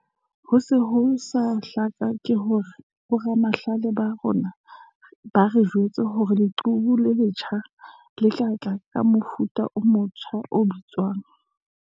"Ho se ho sa hlaka ke hore boramahlale ba rona ba re jwetsa hore leqhubu le letjha le tla tla ka mofuta o motja o bitswang."